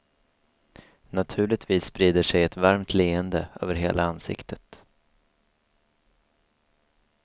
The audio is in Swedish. Naturligtvis sprider sig ett varmt leende över hela ansiktet.